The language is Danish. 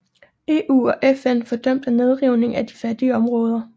EU og FN fordømte nedrivningen af de fattige områder